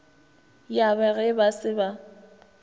ya ba ge ba se